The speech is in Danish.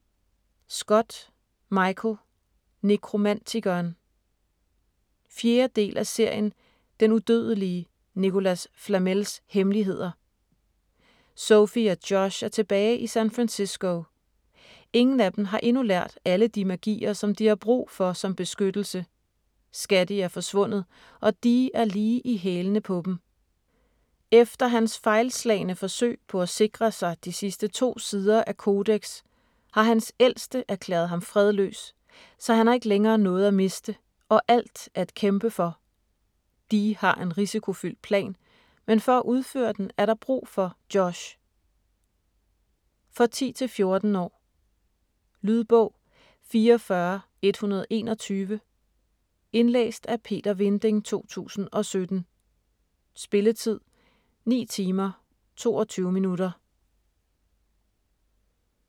Scott, Michael: Nekromantikeren 4. del af serien Den udødelige Nicholas Flamels hemmeligheder. Sophie og Josh er tilbage i San Francisco. Ingen af dem har endnu lært alle de magier, som de har brug for som beskyttelse, Scatty er forsvundet, og Dee er lige i hælene på dem. Efter hans fejlslagne forsøg på at sikre sig de sidste to sider af Codex har hans Ældste erklæret ham fredløs, så han har ikke længere noget at miste og alt at kæmpe for! Dee har en risikofyldt plan, men for at udføre den er der brug for Josh.... For 10-14 år. Lydbog 44121 Indlæst af Peter Vinding, 2017. Spilletid: 9 timer, 22 minutter.